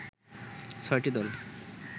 ৬টি দল